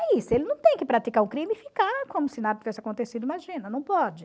É isso, ele não tem que praticar o crime e ficar como se nada tivesse acontecido, imagina, não pode.